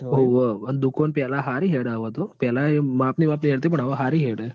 હોવ ણ દુકાન પેલા હારિ હેડ હવે તો પેલા તો માપની માપની હેંડતી પન્ન હવે હરિ હેડ.